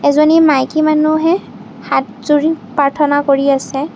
এজনী মাইকী মানুহে হাতযুৰি প্ৰাৰ্থনা কৰি আছে।